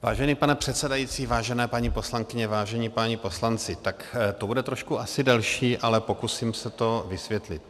Vážený pane předsedající, vážené paní poslankyně, vážení páni poslanci, tak to bude trošku asi delší, ale pokusím se to vysvětlit.